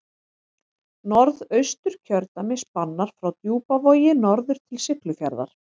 Norðausturkjördæmi spannar frá Djúpavogi norður til Siglufjarðar.